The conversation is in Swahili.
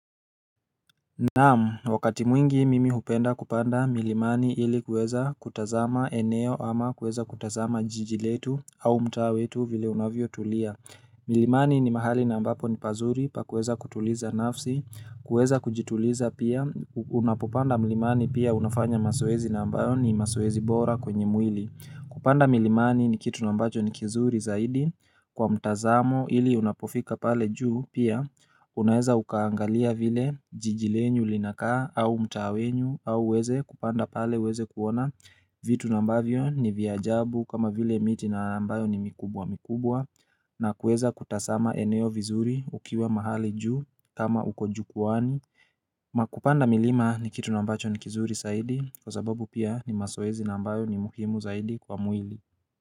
Naam, wakati mwingi mimi hupenda kupanda milimani ili kuweza kutazama eneo ama kuweza kutazama jiji letu au mtaa wetu vile unavyotulia. Milimani ni mahali na ambapo ni pazuri pa kueza kutuliza nafsi, kueza kujituliza pia, unapopanda mlimani pia unafanya mazoezi na ambayo ni mazoezi bora kwenye mwili. Kupanda milimani ni kitu nambacho ni kizuri zaidi kwa mtazamo ili unapofika pale juu pia Unaeza ukaangalia vile jiji lenyu linaka au mtaa wenyu au uweze kupanda pale uweze kuona vitu na mbavyo ni vya ajabu kama vile miti na ambayo ni mikubwa mikubwa na kueza kutazama eneo vizuri ukiwa mahali juu kama ukojukuwani kupanda milima ni kitu nambacho ni kizuri zaidi Kwa sababu pia ni mazoezi na mbayo ni muhimu zaidi kwa mwili.